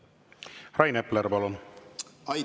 Rain Epler, palun!